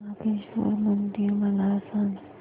नागेश्वर मंदिर मला सांग